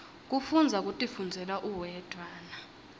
kufundza kutifundzela uwedwana